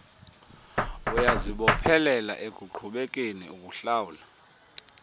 uyazibophelela ekuqhubekeni uhlawula